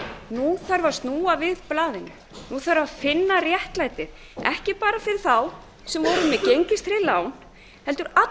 nú þarf að snúa við blaðinu nú þarf að finna réttlætið ekki bara fyrir þá sem voru með gengistryggð lán heldur